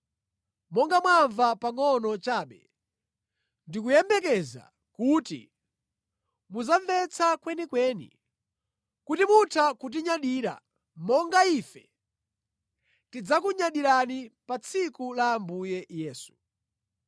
Monga mwamva pangʼono chabe, ndikuyembekeza kuti mudzamvetsa kwenikweni, kuti mutha kutinyadira monga ife tidzakunyadirani, pa tsiku la Ambuye Yesu.